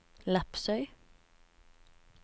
Lepsøy